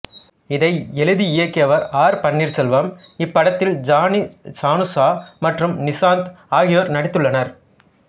இதை எழுதி இயக்கியவர் ஆர் பன்னீர்செல்வம் இப்படத்தில் ஜானி சனுஷா மற்றும் நிஷாந்த் ஆகியோர் நடித்துள்ளனர்